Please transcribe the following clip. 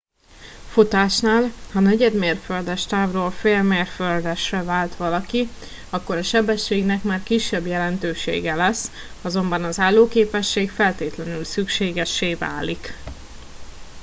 futásnál ha negyedmérföldes távról félmérföldesre vált valaki akkor a sebességnek már kisebb jelentősége lesz azonban az állóképesség feltétlenül szükségessé válik